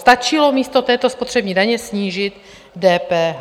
Stačilo místo této spotřební daně snížit DPH.